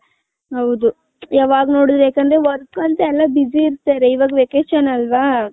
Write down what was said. ಹೌದು ಯಾವಾಗ್ ನೋಡದ್ರು ಯಾಕಂದ್ರೆ work ಅಂತ ಯಲ್ಲ busy ಇರ್ತಾರೆ ಇವಗ್ vacation ಅಲ್ವ .